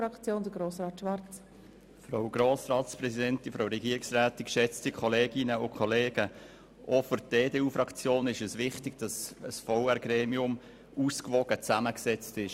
Auch für die EDUFraktion ist es wichtig, dass ein Verwaltungsrat ausgewogen zusammengesetzt ist.